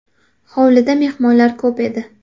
Hovlida mehmonlar ko‘p edi.